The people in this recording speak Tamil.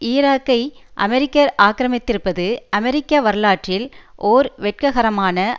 ஈராக்கை அமெரிக்கர் ஆக்கிரமித்திருப்பது அமெரிக்க வரலாற்றில் ஓர் வெட்ககரமான